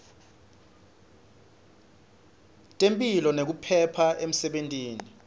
temphilo nekuphepha emsebentini